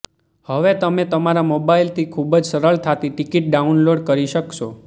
હવે તમે તમારા મોબાઇલથી ખૂબ જ સરળતાથી ટિકિટ ડાઉનલોડ કરી શકશો